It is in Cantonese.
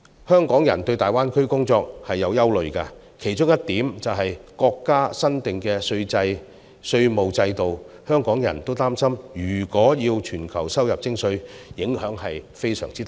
香港人對在大灣區工作存有憂慮，其中一點是國家新訂的稅務制度，香港人擔心如果要全球收入徵稅，影響將會非常大。